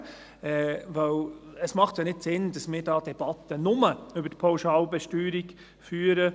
Denn es macht ja nicht Sinn, dass wir hier bloss eine Debatte über die Pauschalbesteuerung führen.